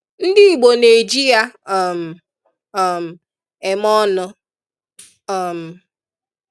Ndị Igbo na-eji ya um um eme ọnụ. um